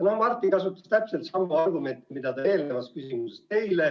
No Martin kasutas täpselt samu argumente, mida ka eelnevas küsimuses.